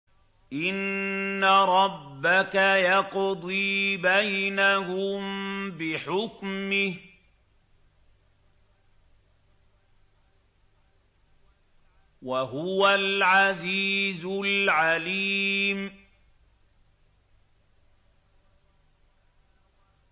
إِنَّ رَبَّكَ يَقْضِي بَيْنَهُم بِحُكْمِهِ ۚ وَهُوَ الْعَزِيزُ الْعَلِيمُ